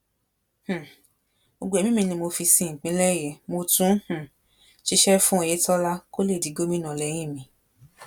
um gbogbo ẹmí mi ni mo fi sin ìpínlẹ yìí mo tún um ṣiṣẹ fún oyetola kó lè di gómìnà lẹyìn mi